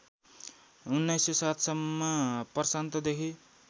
१९०७ सम्म प्रशान्तदेखि